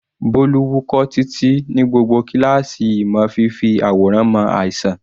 Bolu wúkọ́ títí ní gbogbo kíláàsì ìmọ̀ fífi àwòrán mọ àìsàn.